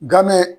Game